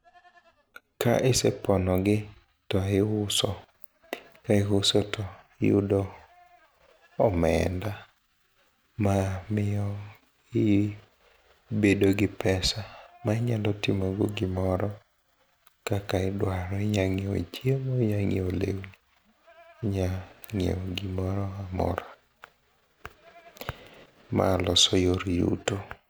ka isepono gi to iuso, ka isuo to iyudo omenda ma miyo i bedo gi pesa ma inyalo timo go gimoro kaka idwaro ,inya ng'iewo chiemo inya ng'iewo lewni, inya ng'iewo gimoro amora ma loso yor yuto